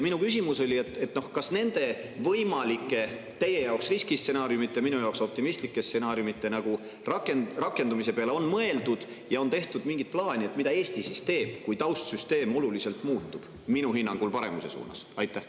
Minu küsimus oli, kas nende võimalike, teie jaoks riskistsenaariumite, minu jaoks optimistlike stsenaariumite rakendumise peale on mõeldud, ja on tehtud mingi plaan, mida Eesti siis teeb, kui taustsüsteem oluliselt muutub, minu hinnangul paremuse suunas?